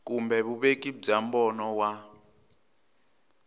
kumbe vuveki bya mbono wa